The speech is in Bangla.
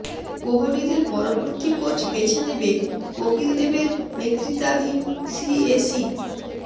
কোহলিদের পরবর্তী কোচ বেছে নেবে কপিল দেবের নেতৃত্বাধীন সিএসি